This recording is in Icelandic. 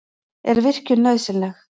Er virkjun nauðsynleg?